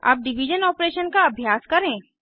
अब division operation का अभ्यास करें